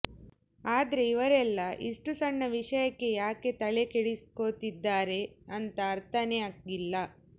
ಆದ್ರೆ ಇವ್ರೆಲ್ಲಾ ಇಷ್ಟು ಸಣ್ಣ ವಿಷಯಕ್ಕೆ ಯಾಕೆ ತಲೆಕೆಡಿಸ್ಕೋತಿದ್ದಾರೆ ಅಂತ ಅರ್ಥಾನೇ ಆಗ್ಲಿಲ್ಲ